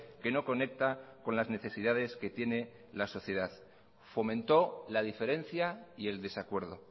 que no conecta con las necesidades que tiene la sociedad fomentó la diferencia y el desacuerdo